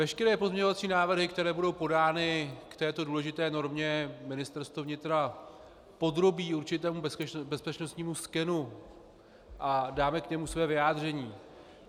Veškeré pozměňovací návrhy, které budou podány k této důležité normě, Ministerstvo vnitra podrobí určitému bezpečnostnímu skenu a dáme k němu své vyjádření.